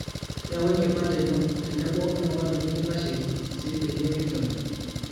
yaau enkipande ino, tenebo oltungani likintaisheiki sii peyie kinchori